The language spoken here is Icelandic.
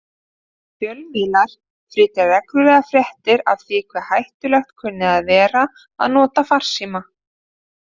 Fjölmiðlar flytja reglulega fréttir af því hve hættulegt kunni að vera að nota farsíma.